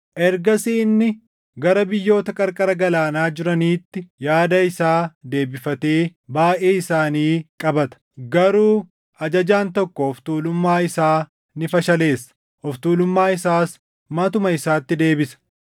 Ergasii inni gara biyyoota qarqara galaanaa jiraniitti yaada isaa deebifatee baayʼee isaanii qabata; garuu ajajaan tokko of tuulummaa isaa ni fashaleessa; of tuulummaa isaas matuma isaatti deebisa.